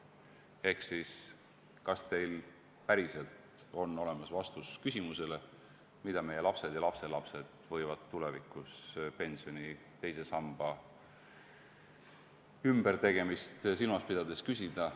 Ehk siis: kas teil päriselt on olemas vastus küsimusele, mille meie lapsed ja lapselapsed võivad tulevikus pensioni teise samba ümbertegemist silmas pidades esitada?